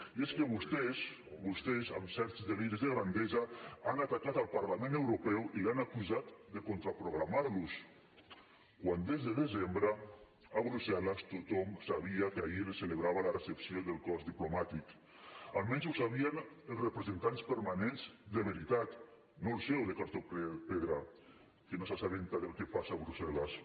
i és que vostès amb certs deliris de grandesa han atacat el parlament europeu i l’han acusat de contraprogramar los quan des de desembre a brussel·les tothom sabia que ahir es celebrava la recepció del cos diplomàtic almenys ho sabien els representants permanents de veritat no el seu de cartró pedra que no s’assabenta del que passa a brussel·les